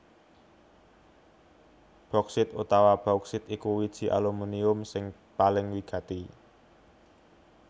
Boksit utawa bauksit iku wiji alumunium sing paling wigati